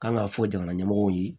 Kan ka fɔ jamana ɲɛmɔgɔw ye